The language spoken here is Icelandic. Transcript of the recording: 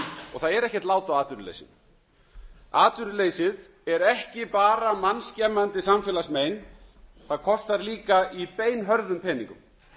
og það er ekkert lát á atvinnuleysinu atvinnuleysið er ekki bara mannskemmandi samfélagsmein það kostar líka í beinhörðum peningum